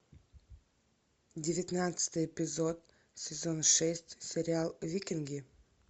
девятнадцатый эпизод сезон шесть сериал викинги